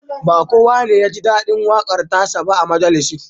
Ba kowa ne ya ji daɗin waƙar ta sa ba a majalisin